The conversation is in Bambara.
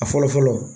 A fɔlɔ fɔlɔ